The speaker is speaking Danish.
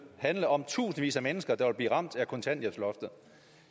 handler om tusindvis af mennesker der vil blive ramt af kontanthjælpsloftet